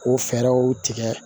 O fɛɛrɛw tigɛ